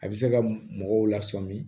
A bɛ se ka mɔgɔw lasɔmin